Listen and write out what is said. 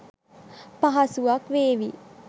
පහසුවක් වේවි.